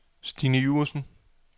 Stine Iversen